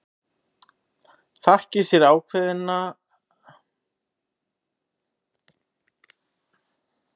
Þakki sér ákveðnina að hafa ekki leyft mér að ráða á sínum tíma.